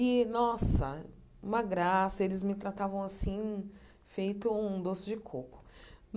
E, nossa, uma graça, eles me tratavam assim, feito um doce de coco.